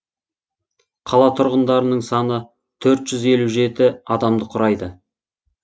қала тұрғындарының саны төрт жүз елу жеті адамды құрайды